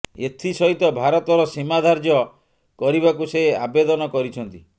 ଏଥିସହିତ ଭାରତର ସୀମା ଧାର୍ଯ୍ୟ କରିବାକୁ ସେ ଆବେଦନ କରିଛନ୍ତି